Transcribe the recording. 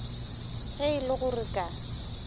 ge e le gore ka